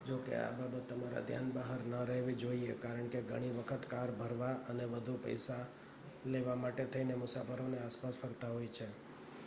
જો કે આ બાબત તમારા ધ્યાન બહાર ન રહેવી જોઈએ કારણકે ઘણી વખત કાર ભરવા અને વધુ પૈસા લેવા માટે થઈને મુસાફરોને આસપાસ ફરતા હોય છે